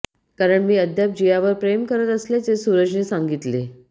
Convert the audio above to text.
कारण मी अद्याप जियावर प्रेम करत असल्याचे सूरजने सांगितले